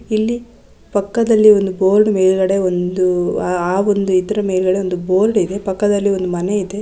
ಇಲ್ಲಿ ಪಕ್ಕದಲ್ಲಿ ಒಂದು ಬೋರ್ಡ್ ಮೇಲ್ಗಡೆ ಒಂದು ಆ ಒಂದು ಇದರ ಮೇಲ್ಗಡೆ ಒಂದು ಬೋರ್ಡ್ ಇದೆ. ಪಕ್ಕದಲ್ಲಿ ಒಂದು ಮನೆ ಇದೆ.